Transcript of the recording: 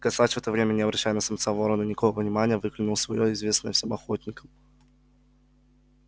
косач в это время не обращая на самца ворона никакого внимания выкликнул своё известное всем охотникам